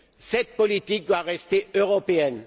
Cette politique doit rester européenne.